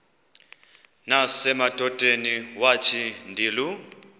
nasemadodeni wathi ndilu